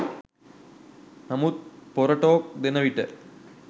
නමුත් පොර ටෝක් දෙන විට